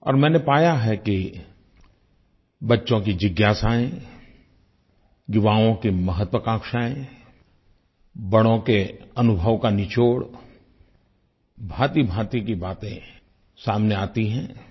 और मैंने पाया है कि बच्चों की जिज्ञासायें युवाओं की महत्वाकांक्षायें बड़ों के अनुभव का निचोड़ भाँतिभाँति की बातें सामने आती हैं